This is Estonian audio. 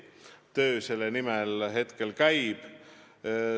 Töö selle nimel käib.